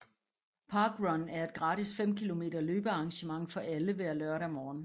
parkrun er et gratis fem kilometer løbearrangement for alle hver lørdag morgen